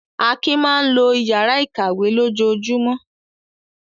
Akin máa ń lo ìyàrá-ìkàwé lójoojúmọ́.